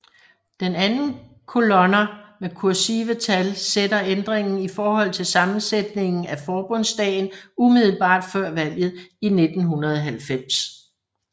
Den andre kolonner med kursive tal sætter ændringen i forhold til sammensætningen af Forbundsdagen umiddelbart før valget i 1990